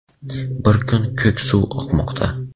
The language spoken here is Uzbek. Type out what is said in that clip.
bir kun ko‘k suv oqmoqda.